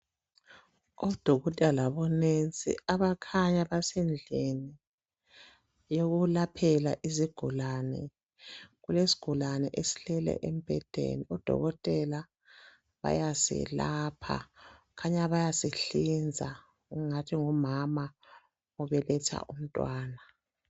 Odokotela labo nurse abakhanya besendlini yokulaphela izigulane. Kulesigulane esilele embhedeni. Odokotela bayaselapha, khanya bayasihlinza. Kungathi ngumama obeletha umntwana.